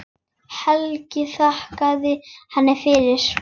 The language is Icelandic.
Helgi þakkaði henni fyrir.